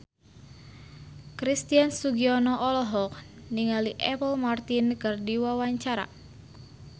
Christian Sugiono olohok ningali Apple Martin keur diwawancara